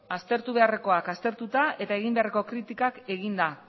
aztertu beharrekoak aztertuta eta egin beharreko kritikak eginda